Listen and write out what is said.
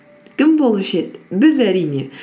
кім болушы еді біз әрине